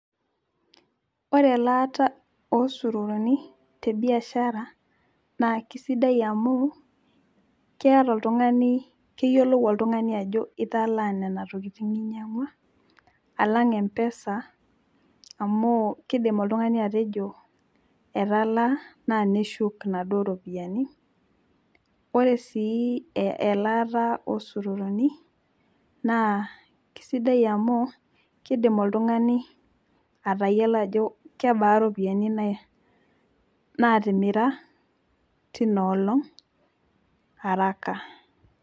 ore elaata oosururuni tebiashara, naa kisidai amu keeta oltungani keyiolou oltungani ajo, italaa nena tokitin ninyiang'ua alang e mpesa, amu kidim oltungani atejo etalaa naa neshuk inaduoo ropiyiani, ore sii elaata, oosururuni naa kisidai amu, kidim oltungani atayiolo ajo kebaa iropiyiani, naatimira teina olong' araka.